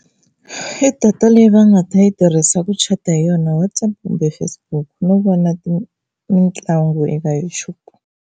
I data leyi va nga ta yi tirhisa ku chata hi yona Whatsapp kumbe Facebook no vona mitlangu eka Youtube.